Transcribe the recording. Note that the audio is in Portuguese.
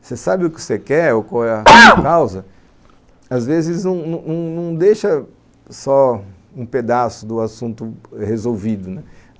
Você sabe o que você quer, ou qual é a causa, às vezes não não deixa só um pedaço do assunto resolvido, né